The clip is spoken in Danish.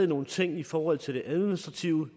nogle ting i forhold til det administrative med